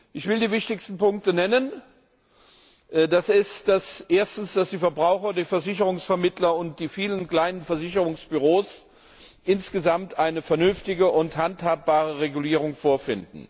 Ich will die wichtigsten Punkte nennen Erstens finden die Verbraucher, die Versicherungsvermittler und die vielen kleinen Versicherungsbüros insgesamt eine vernünftige und handhabbare Regulierung vor.